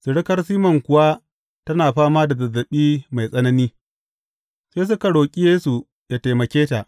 Surukar Siman kuwa tana fama da zazzaɓi mai tsanani, sai suka roƙi Yesu yă taimake ta.